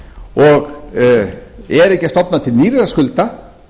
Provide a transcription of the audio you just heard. og er ekki að stofna til nýrra skulda